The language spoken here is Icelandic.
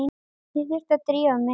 Ég þurfti að drífa mig.